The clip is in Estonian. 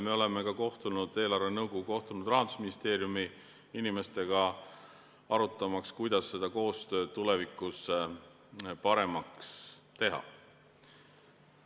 Eelarvenõukogu on kohtunud Rahandusministeeriumi inimestega, arutamaks, kuidas koostööd tulevikus paremaks teha.